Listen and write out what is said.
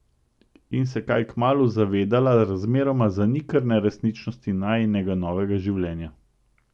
In se kaj kmalu zavedela razmeroma zanikrne resničnosti najinega novega življenja.